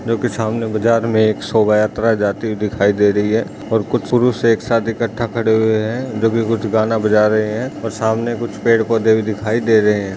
जो की बाजार मे सामने एक शोभा यात्रा जाती हुई दिखाई दे रही है और कुछ पुरुष एक साथ इकठा खड़े हुए है जो की कुछ गाना बजा रहे है और सामने कुछ पेड़ पौधे भी दिखाई पड़ रही है।